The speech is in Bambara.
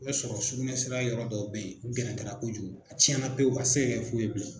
I b'a sɔrɔ sukunɛsira yɔrɔ dɔw bɛ yen a gɛrɛntɛla kojugu a tiɲɛna pewu a ti se ka kɛ foyi ye bilen.